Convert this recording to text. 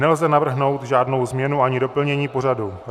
Nelze navrhnout žádnou změnu ani doplnění pořadu.